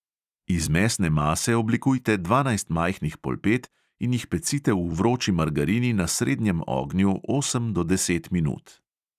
Iz mesne mase oblikujte dvanajst majhnih polpet in jih pecite v vroči margarini na srednjem ognju osem do deset minut.